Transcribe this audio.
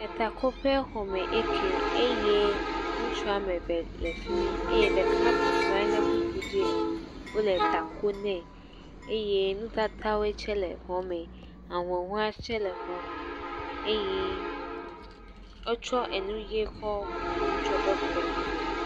Etakoƒexɔme eyi ɛkɛ eye ŋutsu wo ame eve le fi mi eye ɖeka bɔbɔ nɔ anyi le kpukpu dzi eye wole takoo nɛ eye nutatawo tsɛ le xɔme. Ahuhɔ̃e tsɛ le xɔa me eye wotsɔ enu ʋi tsɔ bu ŋutsua ƒe kɔnu nɛ.